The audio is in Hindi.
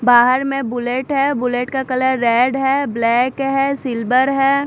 बाहर में बुलेट है बुलेट का कलर रेड है ब्लैक है सिल्वर है।